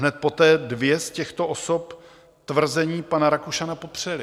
Hned poté dvě z těchto osob tvrzení pana Rakušana popřely.